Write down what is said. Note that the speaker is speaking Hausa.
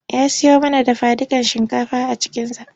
Ya siyo mana dafadukan shinkafa a cikinza.